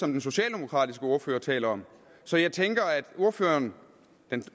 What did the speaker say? den socialdemokratiske ordfører taler om så jeg tænker at ordføreren den